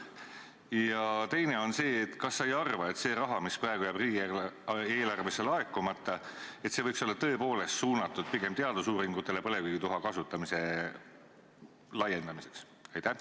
Teine on see: kas sa ei arva, et see raha, mis praegu jääb riigieelarvesse laekumata, võiks olla tõepoolest suunatud pigem teadusuuringutele põlevkivituha kasutamise laiendamiseks?